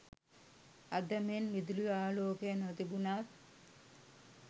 අද මෙන් විදුලි ආලෝකය නොතිබුණත්